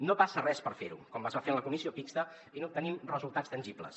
no passa res per fer·ho com es va fer en la comissió mixta i n’obtenim resul·tats tangibles